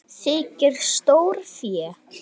Þykir stórfé.